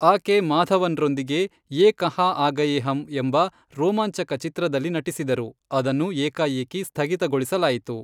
ಆಕೆ ಮಾಧವನ್ರೊಂದಿಗೆ ಯೇ ಕಹಾ ಆ ಗಯೇ ಹಮ್ ಎಂಬ ರೋಮಾಂಚಕ ಚಿತ್ರದಲ್ಲಿ ನಟಿಸಿದರು, ಅದನ್ನು ಏಕಾಏಕಿ ಸ್ಥಗಿತಗೊಳಿಸಲಾಯಿತು.